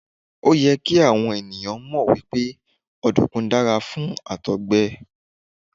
Òyẹ kí àwọn ènìyàn mọ̀ wípé ọ̀dùnkún dára fún Àtọ̀gbẹ.